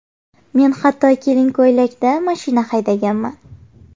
Men hatto kelin ko‘ylakda mashina haydaganman.